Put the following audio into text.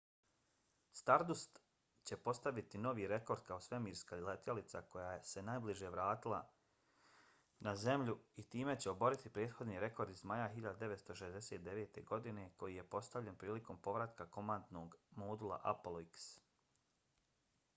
stardust će postaviti novi rekord kao svemirska letjelica koja se najbrže vratila na zemlju i time će oboriti prethodni rekord iz maja 1969. godine koji je postavljen prilikom povratka komandnog modula apollo x